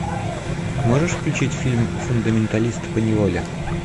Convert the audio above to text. можешь включить фильм фундаменталист по неволе